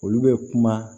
Olu bɛ kuma